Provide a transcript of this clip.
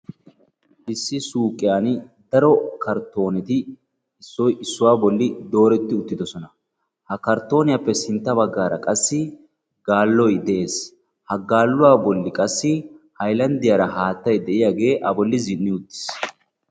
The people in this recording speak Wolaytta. Issi suyqiyan daro karttooneti Issoyi issuwa bolli dooretti uttidosona. Ha karttooniyappe sintta baggaara qassi gaaloyi de'es. Ha gasluwa bolli qassi haylanddiyara haattayi diyagee a bolli Zinn"i uttis.